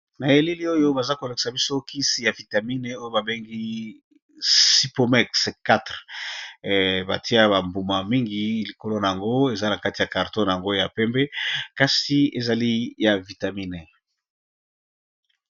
na eleli oyo baza kolekisa biso kisi ya vitamine oyo babengi sipome4 batia bambuma mingi likolo na yango eza na kati ya carton na yango ya pembe kasi ezali ya vitamine